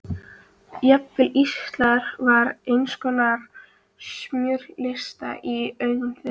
Jafnvel Ísland var einskonar smjörkista í augum þeirra.